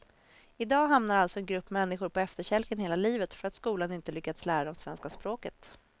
I dag hamnar alltså en grupp människor på efterkälken hela livet för att skolan inte lyckats lära dem svenska språket.